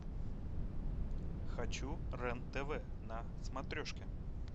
хочу рен тв на смотрешке